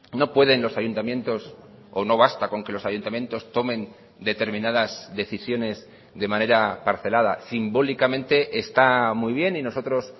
no pueden los ayuntamientos o no basta con que los ayuntamientos tomen determinadas decisiones de manera parcelada simbólicamente está muy bien y nosotros